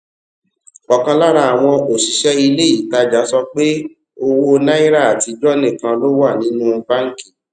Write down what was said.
ọ̀kan lára àwọn òṣìṣé ilé ìtajà sọ pé owó náírà àtijó nìkan ló wà nínú báńkì